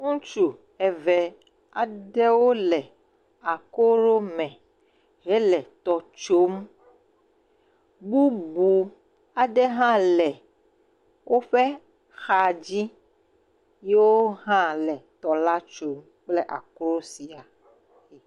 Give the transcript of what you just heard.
Ŋutsu eve aɖewo le akro me hele tɔ tsom, bubu aɖe hã le woƒe xa dzi, yiwo hã le tɔ la tsom kple akro sia.